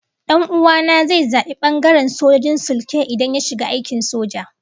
Dan'uwa na zai zabi bangaren sojojin sulke idan ya shiga aikin soja